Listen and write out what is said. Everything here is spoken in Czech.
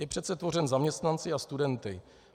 Je přece tvořen zaměstnanci a studenty.